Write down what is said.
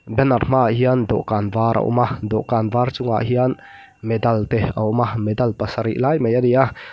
banner hma ah hian dawh kan var a awm a dawh kan chungah hian medal te awm a medal pasarih lai mai ani a.